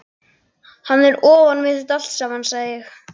Hann er ofan við þetta allt saman, sagði ég.